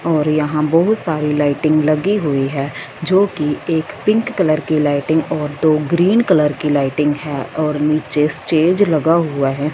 और यहां बहुत सारी लाइटिंग लगी हुई है जो कि एक पिंक कलर की लाइटिंग और दो ग्रीन कलर की लाइटिंग है और नीचे स्टेज लगा हुआ है।